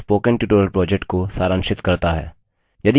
यह spoken tutorial project को सारांशित करता है